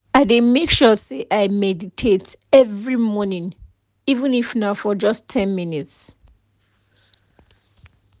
i dey make sure say i meditate every morning even if na for just ten minutes